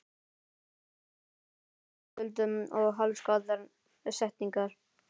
Mest var þetta stam, tuldur og hálfsagðar setningar.